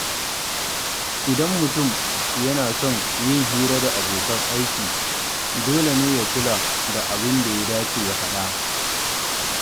Idan mutum yana son yin hira da abokan aiki, dole ne ya kula da abin da ya dace ya faɗa.